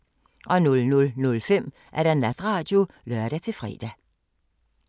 00:05: Natradio (lør-fre)